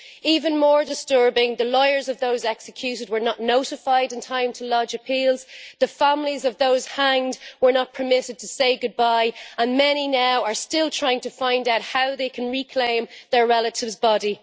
Even more disturbing, the lawyers of those executed were not notified in time to lodge appeals, the families of those hanged were not permitted to say goodbye, and many now are still trying to find out how they can reclaim their relative's body.